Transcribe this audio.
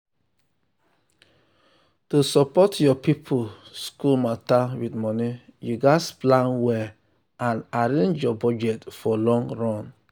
to support your people school matter with money you gats plan well and arrange your budget for long run.